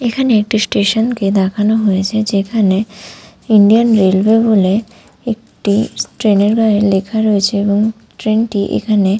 এখানে একটি স্টেশন -কে দেখানো হয়েছে যেখানে ইন্ডিয়ান রেলওয়ে বলে একটি ট্রেনের গাঁয়ে লেখা রয়েছে এবং ট্রেনটি এখানে--